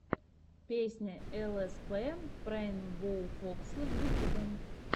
песня лспрейнбоуфокса в ютьюбе